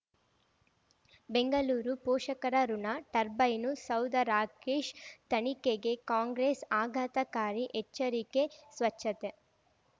ಬೆಂಗಳೂರು ಪೋಷಕರಋಣ ಟರ್ಬೈನು ಸೌಧ ರಾಕೇಶ್ ತನಿಖೆಗೆ ಕಾಂಗ್ರೆಸ್ ಆಘಾತಕಾರಿ ಎಚ್ಚರಿಕೆ ಸ್ವಚ್ಛತೆ